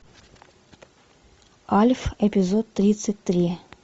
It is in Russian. альф эпизод тридцать три